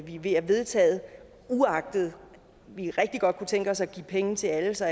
vi vil have vedtaget uagtet at vi rigtig godt kunne tænke os at give penge til alle så